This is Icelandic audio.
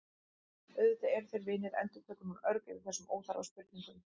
Auðvitað eru þeir vinir, endurtekur hún örg yfir þessum óþarfa spurningum.